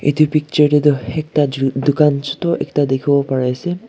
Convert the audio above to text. Etu picture dae tuh ekta jhu dukan chutu ekta dekhevo pare ase.